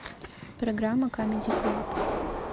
программа камеди клаб